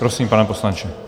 Prosím, pane poslanče.